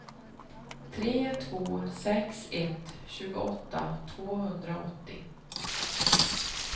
tre två sex ett tjugoåtta tvåhundraåttio